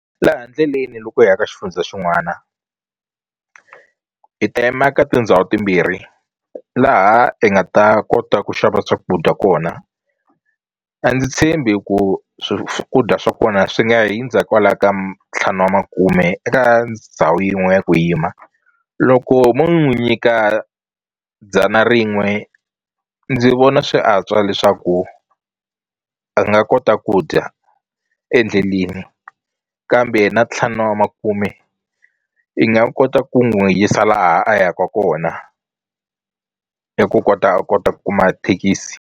Laha ndleleni loko hi ya ka xifundza xin'wana i ta yima ka tindhawu timbirhi laha hi nga ta kota ku xava swakudya kona a ndzi tshembi ku swakudya swa kona swi nga hindza kwala ka ntlhanu wa makume eka ndhawu yin'we ya ku yima loko mo n'wi nyika dzana rin'we ndzi vona swi antswa leswaku a nga kota ku dya endleleni kambe na ntlhanu wa makume i nga kota ku n'wi yisa laha a yaka kona i ku kota a kota ku kuma thekisi.